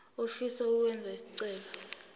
ofisa ukwenza isicelo